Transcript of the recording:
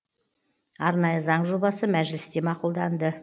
арнайы заң жобасы мәжілісте мақұлданды